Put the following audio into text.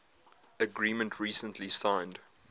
agreement recently signed